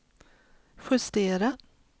justera